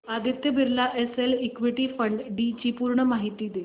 Aditya Birla SL equity fund D ची पूर्ण माहिती दे